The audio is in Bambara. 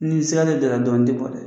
Ni sigalen don a la dɔrɔn n tɛ bɔ dɛ